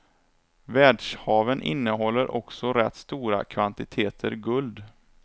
Världshaven innehåller också rätt stora kvantiteter guld.